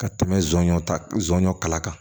Ka tɛmɛ sonɲɔ ta zon kala kan